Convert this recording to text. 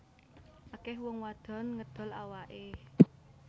Akeh wong wadon ngedol awake